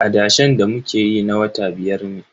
Adashen da muke yi na wata biyar ne.